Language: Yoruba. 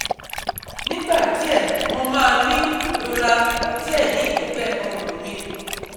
Nigba die mo ma ni irora igba die ni egbe orun mi